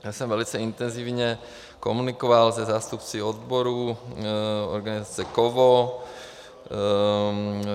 Já jsem velice intenzivně komunikoval se zástupci odborů organizace KOVO.